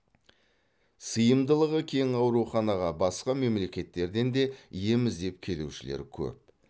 сыйымдылығы кең ауруханаға басқа мемлекеттерден де ем іздеп келушілер көп